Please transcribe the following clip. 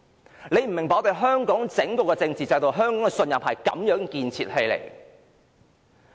大家可能不明白我們香港整套政治制度，香港的信任是這樣建立起來的。